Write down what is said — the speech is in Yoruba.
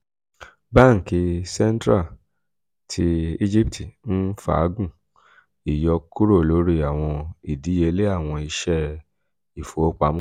banki central ti egipti n faagun iyọkuro lori awọn idiyele awọn iṣẹ ifowopamọ